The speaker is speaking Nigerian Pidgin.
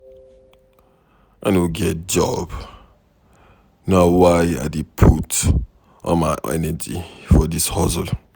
I no get job na why I dey put all my energy for dis hustle.